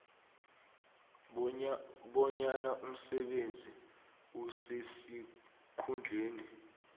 bonyana umsebenzi osesikhundleni